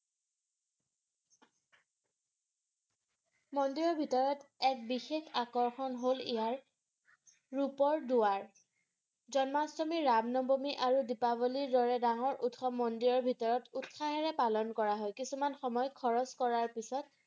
মন্দিৰৰ ভিতৰত এক বিশেষ আকৰ্ষণ হল ইয়াৰ ৰূপৰ দুৱাৰ জন্মাষ্টমী ৰামনৱমী আৰু দিপাৱলীৰ দৰে ডাঙৰ উৎসৱ মন্দিৰৰ ভিতৰত উৎসাহেৰে পালন কৰা হয় কিছুমান সময় খৰচ কৰাৰ পিছত